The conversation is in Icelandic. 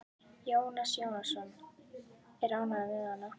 Jónas Jónsson er ánægður með hana.